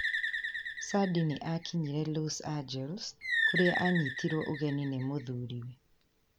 Sandĩ nĩ aakinyire Los Angales, kũrĩa aanyitirũo ũgeni nĩ mũthuriwe.